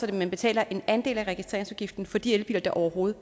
at man betaler en andel af registreringsafgiften for de elbiler der overhovedet